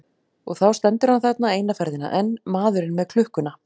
Og þá stendur hann þarna, eina ferðina enn, maðurinn með klukkuna.